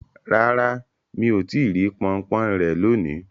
Rara, mi o ti ri ponpon re loni